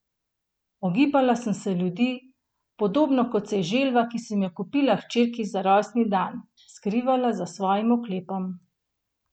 Ogibala sem se ljudi, podobno kot se je želva, ki sem jo kupila hčerki za rojstni dan, skrivala za svojim oklepom.